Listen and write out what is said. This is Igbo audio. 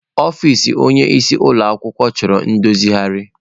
Ọfịs onyeisi ụlọ ọrụ chọrọ ndozigharị.